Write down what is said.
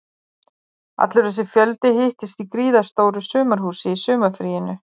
Allur þessi fjöldi hittist í gríðarstóru sumarhúsi í sumarfríinu